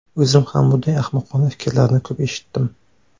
O‘zim ham bunday ahmoqona fikrlarni ko‘p eshitdim.